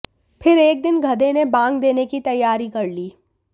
फिर एक दिन गधे ने बांग देने की तैयारी कर ली